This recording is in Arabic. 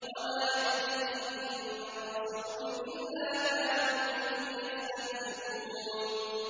وَمَا يَأْتِيهِم مِّن رَّسُولٍ إِلَّا كَانُوا بِهِ يَسْتَهْزِئُونَ